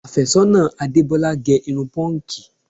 Àfẹ́sọ́nà Adebola gè irun pọ́ǹgì